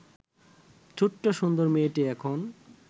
ছোট্ট সুন্দর মেয়েটি এখন